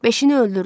Beşini öldürdüm.